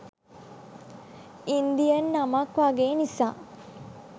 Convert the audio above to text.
Indian නමක් වගේ නිසා